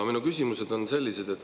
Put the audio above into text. Minu küsimused on sellised.